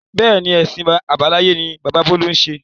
Bẹ́ẹ̀ni, èsìn àbáláyé ni bàbá bolu ń ṣe.